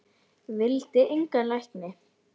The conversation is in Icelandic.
Vildi engan lækni.